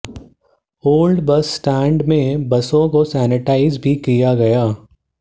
old bus stand में बसों को सैनिटाइज भी किया गया